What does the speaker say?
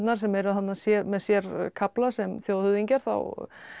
sem eru þarna með sér kafla sem þjóðhöfðingjar þá